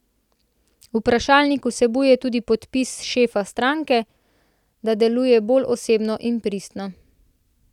Vprašalnik vsebuje tudi podpis šefa stranke, da deluje bolj osebno in pristno.